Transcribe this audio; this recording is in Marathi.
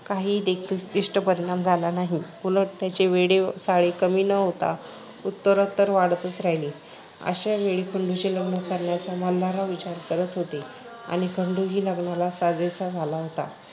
काहीदेखील इष्ट परिणाम झाला नाही. उलट त्याचे वेडे चाळे कमी न होता उत्तरोत्तर वाढतच राहिले. अशावेळी खंडूचे लग्न करण्याचा मल्हारराव विचार करत होते आणि खंडूही लग्नाला साजेसा झाला होता.